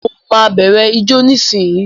Mo ma bẹrẹ ijó nisinyi.